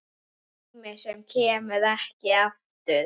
Tíma sem kemur ekki aftur.